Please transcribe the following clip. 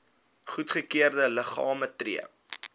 goedgekeurde liggame tree